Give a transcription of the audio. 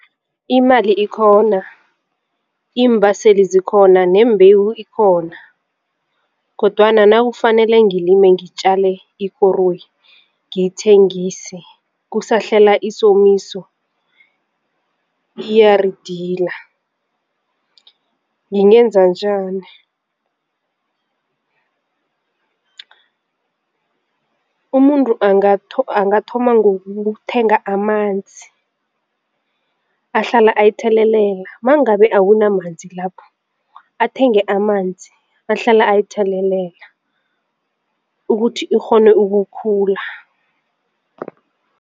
Imali ikhona, iimbaseli zikhona, neembhewu ikhona kodwana nakufanele ngilime ngitjale ikoroyi ngiyithengise kusahlela isomisa iyaridila ngingenza njani? Umuntu angatho angathoma ngokuthenga amanzi ahlala ayithelelela mangabe akunamanzi lapho athenge amanzi ahlala ayithelelela ukuthi ikghone ukukhula.